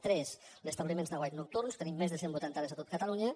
tres l’establiment d’aguaits nocturns tenim més de cent vuitanta àrees a tot catalunya